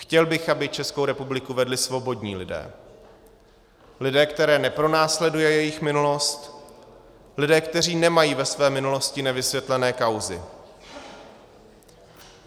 Chtěl bych, aby Českou republiku vedli svobodní lidé, lidé, které nepronásleduje jejich minulost, lidé, kteří nemají ve své minulosti nevysvětlené kauzy.